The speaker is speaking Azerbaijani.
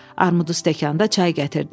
Armud stəkanda çay gətirdi.